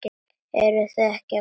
Eruð þið ekki að koma?